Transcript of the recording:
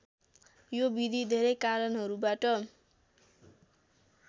यो विधि धेरै कारणहरूबाट